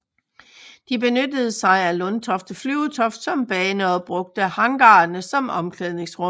De benyttede sig af Lundtofte Flyveplads som bane og brugte hangarerne som omklædningsrum